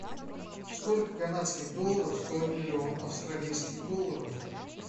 сколько канадских долларов стоит миллион австралийских долларов